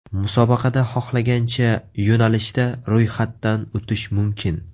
Musobaqada xohlagancha yo‘nalishda ro‘yxatdan o‘tish mumkin.